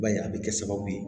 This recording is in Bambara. I b'a ye a bɛ kɛ sababu ye